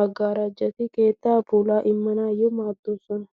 maggaarajati keettaa pulaa immanaayyo maaddoosona.